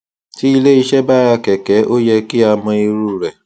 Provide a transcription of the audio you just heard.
tí iléiṣẹ bá ra kẹkẹ ó yẹ kí a mọ irú rẹ